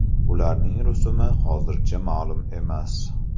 Ularning rusumi hozircha ma’lum emas.